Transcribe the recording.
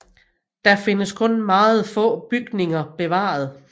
Der findes kun meget få bygninger bevaret